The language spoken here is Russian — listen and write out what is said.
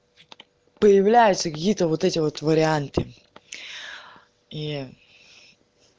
появляются какие-то вот эти вот варианты и